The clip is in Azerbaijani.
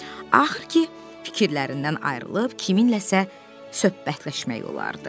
Axır ki, fikirlərindən ayrılıb, kiminləsə söhbətləşmək olardı.